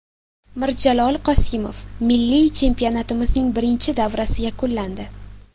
Mirjalol Qosimov: Milliy chempionatimizning birinchi davrasi yakunlandi.